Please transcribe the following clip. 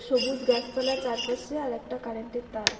সবুজ গাছপালা চারপাশে আর একটা কারেন্টের তার।